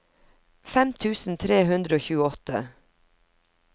fem tusen tre hundre og tjueåtte